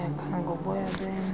yakha ngoboya benye